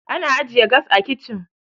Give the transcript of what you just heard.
ana ajiye gas a kicin